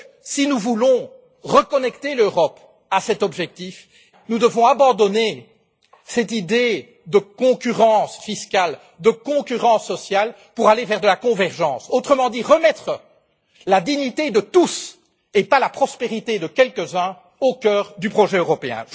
Si nous voulons reconnecter l'Europe à cet objectif, nous devons abandonner cette idée de concurrence fiscale et sociale pour aller vers la convergence, autrement dit remettre la dignité de tous, et pas la prospérité de quelques uns, au cœur du projet européen.